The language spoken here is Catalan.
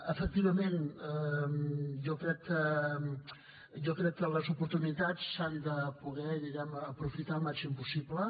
efectivament jo crec que les oportunitats s’han de poder diguem ne aprofitar el màxim possible